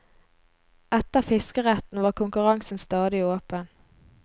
Etter fiskeretten var konkurransen stadig åpen.